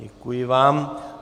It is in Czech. Děkuji vám.